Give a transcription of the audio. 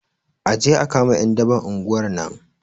Aje a kama ƴan daban unguwar nan